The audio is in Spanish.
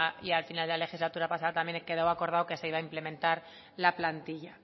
y al final de la legislatura pasada también quedó acordado que se iba a implementar la plantilla